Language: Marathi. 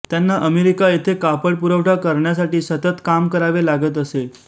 त्यांना अमेरिका येथे कापड पुरवठा करण्यासाठी सतत काम करावे लागत असे